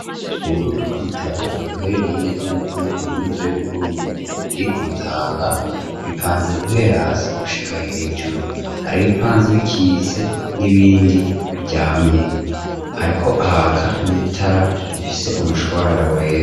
Ububiko bw'ibitabo buherereye neza naneza muri kaminuza y'uburundi iri kumutanga bipanze guhera hasi gushika hejuru hari ibipanze bikitse n'ibindi bijanye ariko ahaka n'itara rifise umushwarara wera.